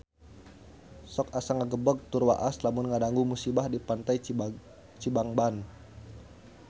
Sok asa ngagebeg tur waas lamun ngadangu musibah di Pantai Cibangban